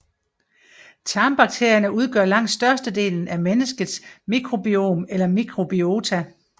Tarmbakterierne udgør langt størstedelen af menneskets mikrobiom eller mikrobiota